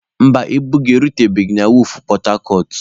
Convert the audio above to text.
Mba, ibu gị erutebeghi na wọọfụ pọtacọt.